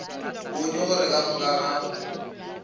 bone gore ka moka ga